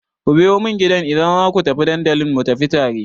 Ku biyo mun gida idan za ku je dandalin mu tafi tare!